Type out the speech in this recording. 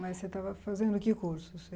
Mas você estava fazendo que curso? Você